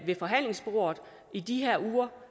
ved forhandlingsbordet i de her uger